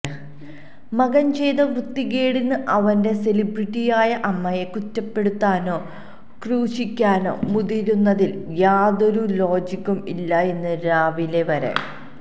മകൻ ചെയ്ത വൃത്തിക്കേടിന് അവന്റെ സെലിബ്രിട്ടിയായ അമ്മയെ കുറ്റപ്പെടുത്താനോ ക്രൂശിക്കാനോ മുതിരുന്നതിൽ യാതൊരു ലോജിക്കും ഇല്ലായെന്നു രാവിലെ വരെ